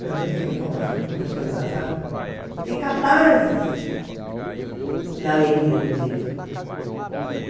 pelo menos foi a informação que os professores passaram, de catarses na leitura do livro.